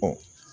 Ɔ